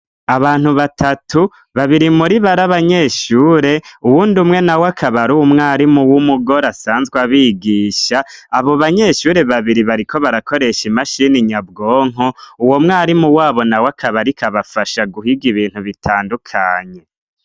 Abantu batatu, babiri muribo ari abanyeshure, uwundi umwe nawe akaba ariwe mwarimu w'umugore asanzwe abigisha, abo banyeshure babiri bariko barakoresha imashini nyabwonko, uwo mwarimu wabo nawe akabariko abafasha guhiga ibintu bitandukanye.